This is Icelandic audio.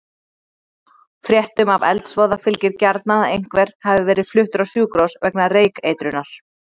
Fréttum af eldsvoða fylgir gjarnan að einhver hafi verið fluttur á sjúkrahús vegna reykeitrunar.